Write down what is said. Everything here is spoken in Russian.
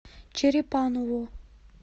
черепаново